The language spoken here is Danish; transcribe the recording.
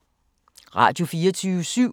Radio24syv